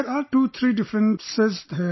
There are 2 3 differences here